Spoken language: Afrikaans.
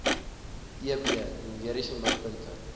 eb numeriese mikpunte